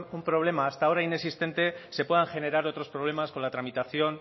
un problema hasta ahora inexistente se puedan generar otros problemas con la tramitación